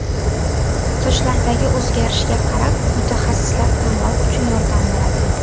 Sochlardagi o‘zgarishga qarab mutaxassislar tanlov uchun yordam beradi.